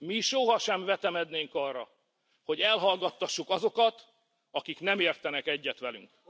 Mi soha sem vetemednénk arra, hogy elhallgattassuk azokat, akik nem értenek egyet velünk.